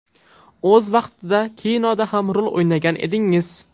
O‘z vaqtida kinoda ham rol o‘ynagan edingiz.